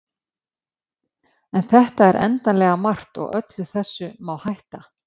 En þetta er endanlega margt og öllu þessu má hætta.